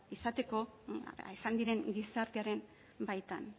izateko izan diren gizartearen baitan